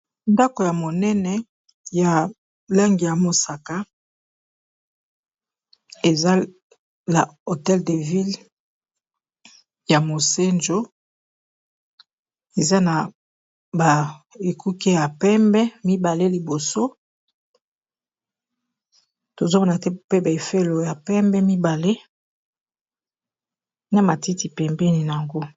ndako ya monene ya lange ya mosaka eza na hotel de ville ya mosanjo eza na ba ekuke ya pembe mibale liboso tozomana te pe ba efelo ya pembe mibale na matiti pembeni nango